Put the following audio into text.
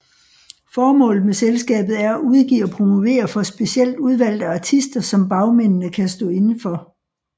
Formålet med selskabet er at udgive og promovere for specielt udvalgte artister som bagmændene kan stå inde for